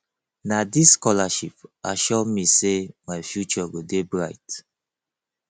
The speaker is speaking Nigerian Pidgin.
na dis scholarship assure me sey my future go dey bright